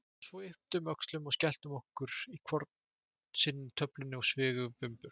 Svo við ypptum öxlum og skelltum í okkur hvor sinni töflunni og svifum burt.